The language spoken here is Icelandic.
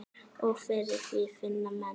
Og fyrir því finna menn.